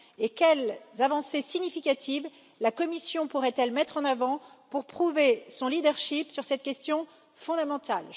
Et quelles avancées significatives la Commission pourrait elle mettre en avant pour prouver son leadership sur cette question fondamentale?